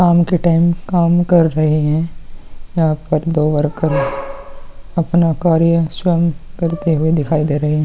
काम के टाइम काम कर रहे है यहाँ पर दो वर्कर अपना कार्य स्वयं करते हुए दिखाई दे रहे है।